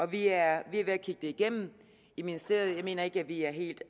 vi er ved at kigge det igennem i ministeriet jeg mener ikke at vi er helt